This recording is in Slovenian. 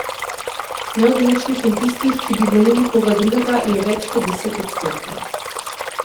Neodločnih in tistih, ki bi volili koga drugega, je več kot deset odstotkov.